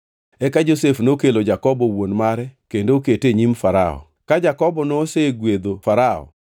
Eka Josef nokelo Jakobo wuon mare kendo okete e nyim Farao. Ka Jakobo nosegwedho Farao,